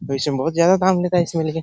पर इसमें बहुत ज़्यादा काम लेता है इसमें लेकिन --